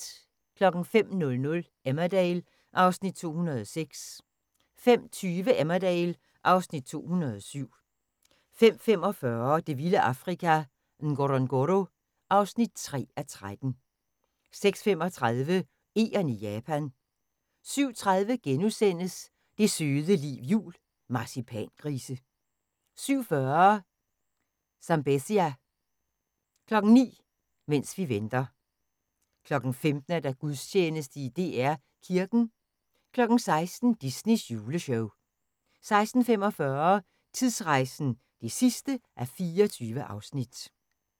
05:00: Emmerdale (Afs. 206) 05:20: Emmerdale (Afs. 207) 05:45: Det vilde Afrika – Ngorongoro (3:13) 06:35: Egern i Japan 07:30: Det søde liv jul – Marcipangrise * 07:40: Zambezia 09:00: Mens vi venter 15:00: Gudstjeneste i DR Kirken 16:00: Disneys juleshow 16:45: Tidsrejsen (24:24)